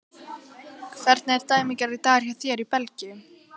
Hvernig er dæmigerður dagur hjá þér hér í Belgíu?